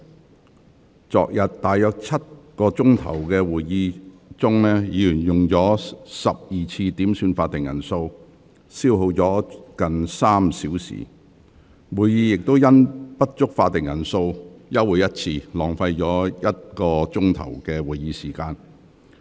在昨日大約7小時的會議中，議員合共要求12次點算法定人數，消耗近3小時，會議更因不足法定人數休會1次，浪費了1小時的議會時間。